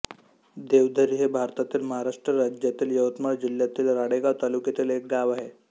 देवधरी हे भारतातील महाराष्ट्र राज्यातील यवतमाळ जिल्ह्यातील राळेगांव तालुक्यातील एक गाव आहे